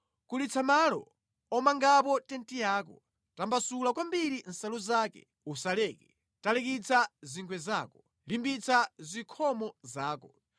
Kulitsa malo omangapo tenti yako, tambasula kwambiri nsalu zake, usaleke; talikitsa zingwe zako, limbitsa zikhomo zako.